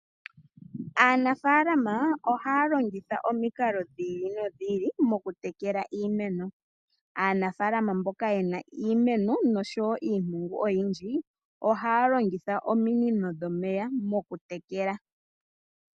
Aanafalama ohalongitha omiinkalo dhili nodhili mokutekela iimeno , aanafalama mboka yena iimeno noshowo iipungu oyindji ohalongitha omiinino dhomeya mokutekela.